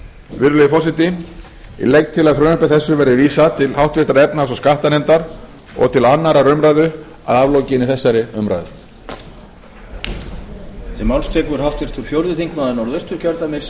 virðulegi forseti ég legg til að frumvarpi þessu verði vísað til háttvirtrar efnahags og skattanefndar og til annarrar umræðu að aflokinni þessari umræðu